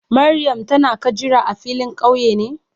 Mariam tana ka jira a filin kauye ne?